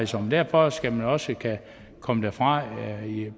sådan derfor skal man også kunne komme derfra